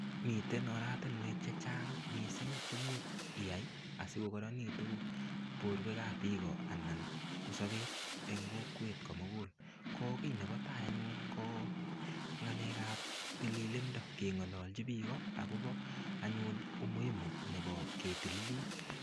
Miten oratinwek che chang che imuch iya sigogoronitu borwekab biiko anan ko sobet eng kokwet komugul ko kiy nebo tai anyun ko ngalekab tililindo kengalalji biiko agobo anyun umuimu nebo ketililit.